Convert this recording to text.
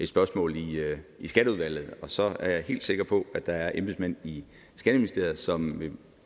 spørgsmål i skatteudvalget og så er jeg helt sikker på at der er embedsmænd i skatteministeriet som